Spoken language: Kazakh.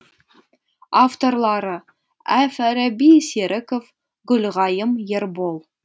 авторлары әл фараби серіков гүлғайым ербол